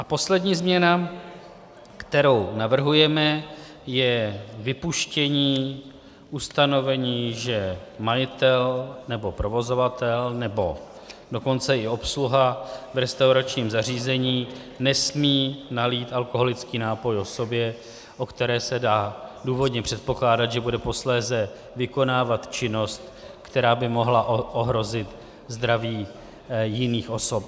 A poslední změna, kterou navrhujeme, je vypuštění ustanovení, že majitel nebo provozovatel, nebo dokonce i obsluha v restauračním zařízení nesmí nalít alkoholický nápoj osobě, o které se dá důvodně předpokládat, že bude posléze vykonávat činnost, která by mohla ohrozit zdraví nebo majetek jiných osob.